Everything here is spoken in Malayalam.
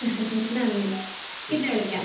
നന്ദി പിന്നെ വിളിക്കാം.